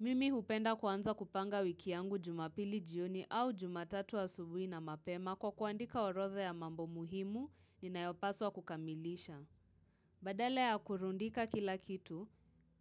Mimi hupenda kuanza kupanga wiki yangu jumapili jioni au jumatatu asubuhi na mapema kwa kuandika orodha ya mambo muhimu ninayopaswa kukamilisha. Badala ya kurundika kila kitu,